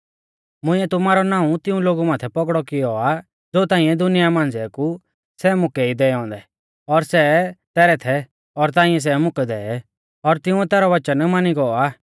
मुंइऐ तुमारौ नाऊं तिऊं लोगु माथै पौगड़ौ किऔ आ ज़ो ताइंऐ दुनिया मांझ़िऐ कु सै मुकै ई दैऔ औन्दै और सै तैरै थै और ताइंऐ सै मुकै दै और तिंउऐ तैरौ वचन मानी गौ आ